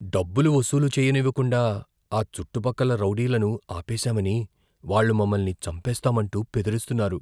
డబ్బులు వసూలు చేయనివ్వకుండా ఆ చుట్టుపక్కల రౌడీలను ఆపేసామని వాళ్ళు మమ్మల్ని చంపేస్తామంటూ బెదిరిస్తున్నారు.